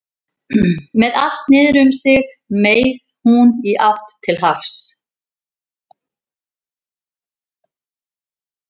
Með allt niður um sig meig hún í átt til hafs.